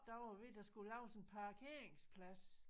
Der var vi der skulle laves en parkeringsplads